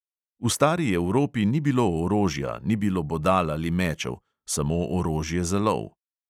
V stari evropi ni bilo orožja, ni bilo bodal ali mečev, samo orožje za lov.